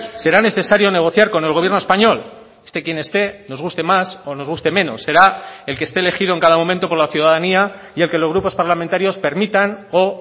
será necesario negociar con el gobierno español esté quien esté nos guste más o nos guste menos será el que esté elegido en cada momento por la ciudadanía y el que los grupos parlamentarios permitan o